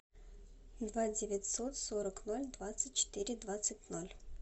два девятьсот сорок ноль двадцать четыре двадцать ноль